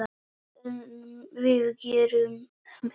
En við gerum betur.